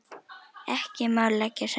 Ekki má leggja saman.